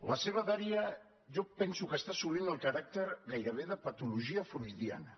la seva dèria jo penso que està assolint el caràcter gairebé de patologia freudiana